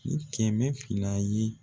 Ni kɛmɛ fila ye.